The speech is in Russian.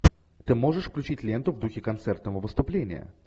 ты можешь включить ленту в духе концертного выступления